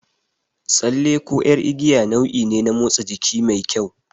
Tsalle ko ƴar igiya nau'i ne na motsa jiki mai kyau.